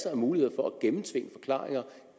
er mulighed for